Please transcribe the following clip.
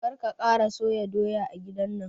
Kar ka kara soya doya a gidan nan!